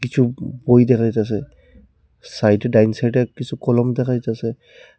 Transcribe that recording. কিছু ব-বই দেখা যাইতাসে সাইডে ডান সাইডে কিছু কলম দেখা যাইতাসে।